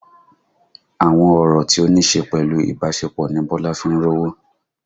Àwọn ọ̀rọ̀ tí ó níṣe pẹ̀lú ìbásepọ̀ ni Bọ́lá fi ń rówó